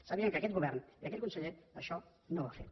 sàpiguen que aquest govern i aquell conseller això no ho han fet